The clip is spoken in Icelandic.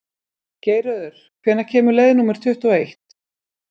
Geirröður, hvenær kemur leið númer tuttugu og eitt?